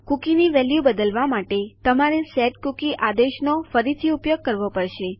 cookie ની value બદલવા માટે તમારે સેટકુકી આદેશનો ફરીથી ઉપયોગ કરવો પડશે